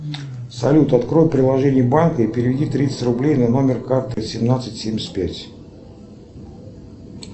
салют открой приложение банка и переведи тридцать рублей на номер карты семнадцать семьдесят пять